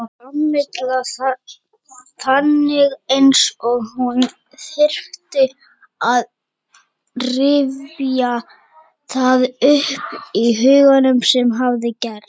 Kamilla þagnaði eins og hún þyrfti að rifja það upp í huganum sem hafði gerst.